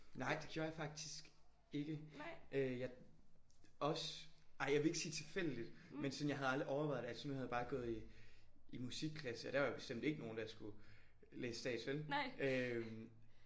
Nej det gjorde jeg faktisk ikke. Øh jeg også ej jeg vil ikke sige tilfældigt men sådan jeg havde aldrig overvejet det. Altså så nu havde jeg bare gået i i musikklasse og der var der bestemt ikke nogen der skulle læse stats vel?